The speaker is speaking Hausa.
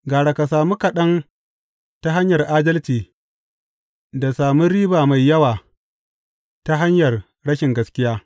Gara ka sami kaɗan ta hanyar adalci da sami riba mai yawa ta hanyar rashin gaskiya.